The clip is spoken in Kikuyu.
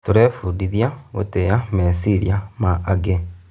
Tũrebundithia gũtĩa meciria ma angĩ.